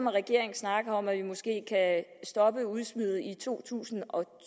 at regeringen snakker om at vi måske kan stoppe udsmidet i to tusind og